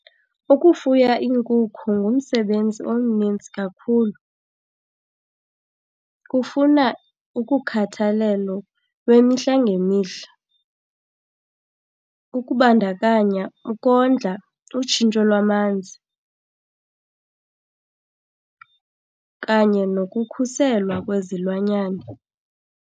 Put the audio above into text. Ukufuya iinkukhu ngumsebenzi omnintsi kakhulu. Kufuna ukukhathalelo lwemihla ngemihla, ukubandakanya ukondla, utshintsho lwamanzi kanye nokukhuselwa kwezilwanyane.